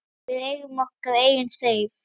Við eigum okkar eigin Seif.